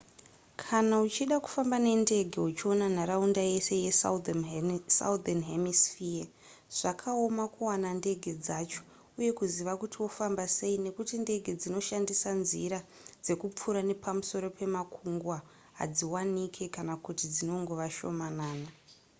kana uchida kufamba nendege uchiona nharaunda yese yesouthern hemisphere zvakaoma kuwana ndege dzacho uye kuziva kuti wofamba sei nekuti ndege dzinoshandisa nzira dzekupfuura nepamusoro pemakungwa hadziwanike kana kuti dzinongova shomanana